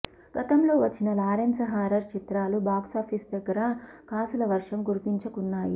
గతంలో వచ్చిన లారెన్స్ హారర్ చిత్రాలు బాక్సాఫీసు దగ్గర కాసుల వర్షం కురిపించుకున్నాయి